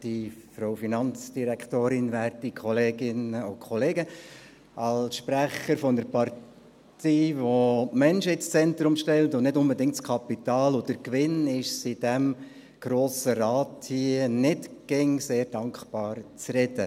Als Sprecher einer Partei, die Menschen ins Zentrum stellt und nicht unbedingt das Kapital und den Gewinn, ist es nicht immer sehr dankbar, hier im Grossen Rat zu reden.